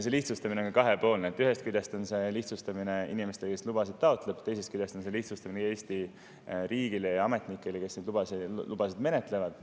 See lihtsustamine on kahepoolne: ühest küljest on see lihtsustamine inimesele, kes lubasid taotleb, teisest küljest on see lihtsustamine Eesti riigile ja ametnikele, kes neid lubasid menetlevad.